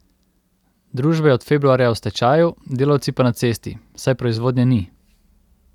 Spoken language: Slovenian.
Družba je od februarja v stečaju, delavci pa na cesti, saj proizvodnje ni.